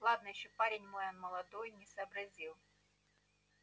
ладно ещё парень мой он молодой не сообразил